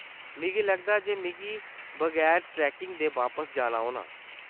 मिगी लगदा ऐ जे मिगी बगैर ट्रेकिंग दे बापस जाना होना।